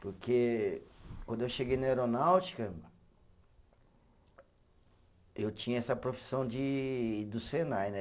Porque quando eu cheguei na aeronáutica, eu tinha essa profissão de do Senai, né?